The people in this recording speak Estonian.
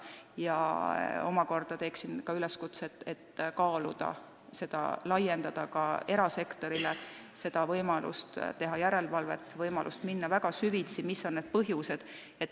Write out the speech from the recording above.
Ma omakorda teeksin üleskutse kaaluda, kas mitte laiendada seda ka erasektorile – seda võimalust teha järelevalvet, võimalust analüüsida väga süvitsi, mis on probleemi põhjused.